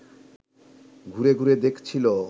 ঘুরে ঘুরে দেখছিল